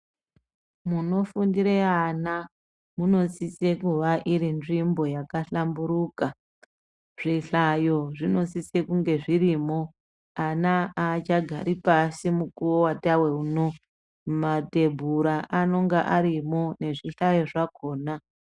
Munofundire ana munosise kuva iri nzvimbo yakahlamburuka . Zvihlayo zvinosise kunge zvirimo. Ana aachagari pashi mukuwo watawe uno. Matebhura anenga arimo, nezvihlayo zvakona.